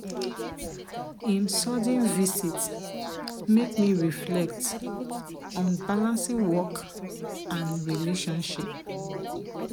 him sudden visit make me reflect on balancing work and relationship.